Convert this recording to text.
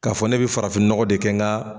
Ka fɔ ne bɛ farafin nɔgɔ de kɛ ka.